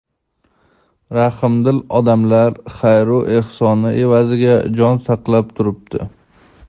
rahmdil odamlar xayru ehsoni evaziga jon saqlab turibdi.